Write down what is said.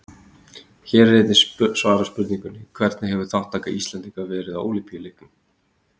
Hér er einnig svarað spurningunni: Hvernig hefur þátttaka Íslendinga verið á Ólympíuleikunum?